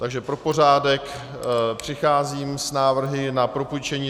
Takže pro pořádek přicházím s návrhy na propůjčení